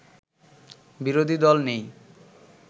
বিরোধী দল নেই